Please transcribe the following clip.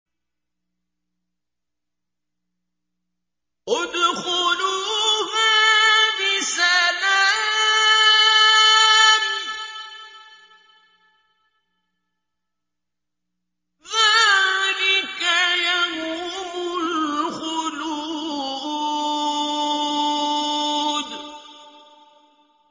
ادْخُلُوهَا بِسَلَامٍ ۖ ذَٰلِكَ يَوْمُ الْخُلُودِ